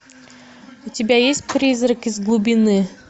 у тебя есть призрак из глубины